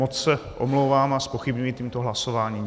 Moc se omlouvám a zpochybňuji tímto hlasování.